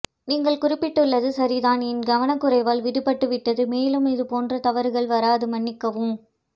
நீங்கள் குறிப்பட்டுள்ளது சரிதான் என் கவணக்குறைவால் விடுபட்டுவிட்டது மேலும் இது போன்ற தவறுகள் வராது மன்னிக்கவும்